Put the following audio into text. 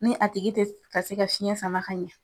Ni a tigi te ka se ka fiɲɛ sama ka ɲɛ